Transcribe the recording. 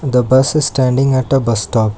the bus is standing at a bus stop.